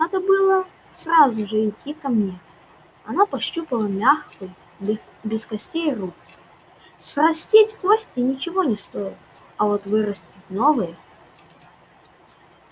надо было сразу же идти ко мне она пощупала мягкую без костей руку срастить кости ничего не стоит а вот вырастить новые